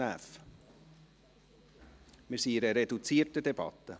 Wir befinden uns in einer reduzierten Debatte.